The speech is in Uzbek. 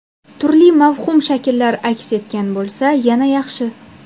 Turli mavhum shakllar aks etgan bo‘lsa, yana yaxshi.